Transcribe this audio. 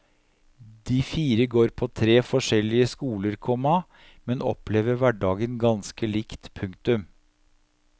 De fire går på tre forskjellige skoler, komma men opplever hverdagen ganske likt. punktum